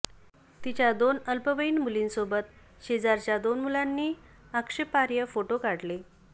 तिच्या दोन अल्पवयीन मुलींसोबत शेजारच्या दोन मुलांनी आक्षेपार्ह फोटो काढले